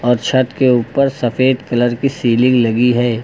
और छत के उपर सफेद कलर की सीलिंग लगी है।